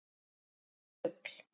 Hvílíkt rugl!